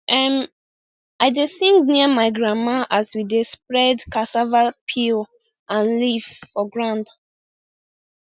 um i dey sing near my grandma as we dey spread cassava peel and leaf for ground